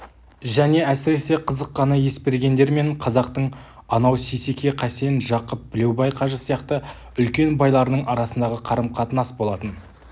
және әсіресе қызыққаны есбергендер мен қазақтың анау сейсеке қасен жақып білеубай қажы сияқты үлкен байларының арасындағы қарым-қатынас болатын